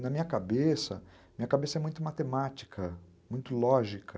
Na minha cabeça, minha cabeça é muito matemática, muito lógica.